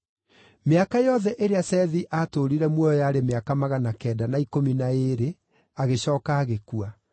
Mĩaka yothe ĩrĩa Sethi aatũũrire muoyo yarĩ mĩaka magana kenda na ikũmi na ĩĩrĩ, agĩcooka agĩkua.